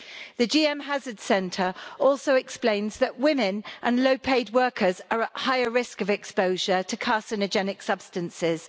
The GM Hazards Centre also explains that women and low-paid workers are at higher risk of exposure to carcinogenic substances.